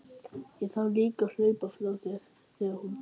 Ég þarf líka að hlaupa frá þér þegar hún kemur.